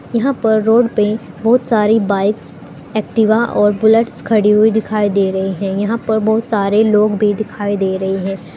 यहां पर रोड पे बहुत सारी बाइक्स एक्टिवा और बुलेट्स खड़ी हुई दिखाई दे रहे हैं यहां पर बहुत सारे लोग भी दिखाई दे रहे हैं।